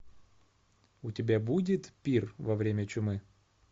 у тебя будет пир во время чумы